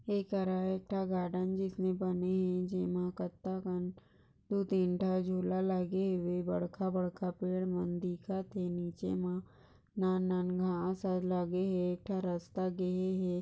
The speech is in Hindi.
ये करा का गार्डन जिसमे बने है कट्टा काम दो तीन धा झूला लगे हुये बढ़का बढ़का पेड़ न दिखाते है जे मा ना नान आ साइड लागे है एक रस्ता गए है।